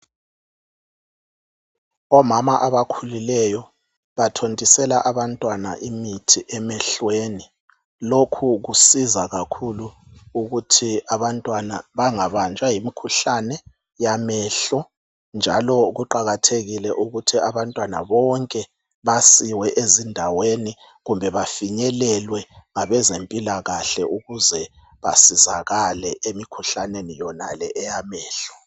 omama abakhulileyo bathontisela abantwana imithi emehlweni lokhu kusiza kakhulu ukuthi abantwana bangabanjwa yimikhuhlane yamehlo njalo kuqakathekile ukuthi abantwana bonke basiwe ezindaweni kumbe bafinyelelwe ngabezempilakhle ukuze basizakale emikhuhlaneni yonale eyamehlo